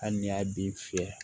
Hali ni y'a dun fiyɛ